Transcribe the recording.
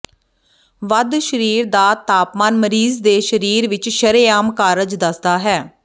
ਵੱਧ ਸਰੀਰ ਦਾ ਤਾਪਮਾਨ ਮਰੀਜ਼ ਦੇ ਸਰੀਰ ਵਿਚ ਸ਼ਰੇਆਮ ਕਾਰਜ ਦੱਸਦਾ ਹੈ